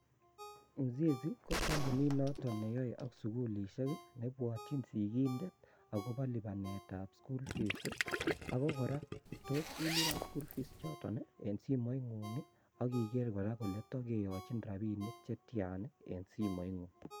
Uzinzi ko kompunit notook neyoe ak sugul, nebwotyin sigiik agobo lipanetab school fee ako kora tos ilipan school fees choton eng simoingung ak ikeer kora ele tokeyochin rabinik chetyaan eng simoitngung